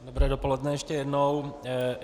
Dobré dopoledne ještě jednou.